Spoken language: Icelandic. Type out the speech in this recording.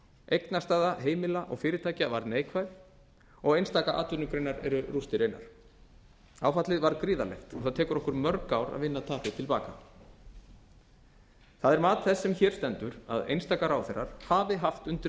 eignastaða heimila og fyrirtækja var neikvæð og einstaka atvinnugreinar eru rústir einar áfallið var gríðarlegt og það tekur okkur mörg ár að vinna tapið til baka það er mat þess sem hér stendur að einstaka ráðherrar hafi haft undir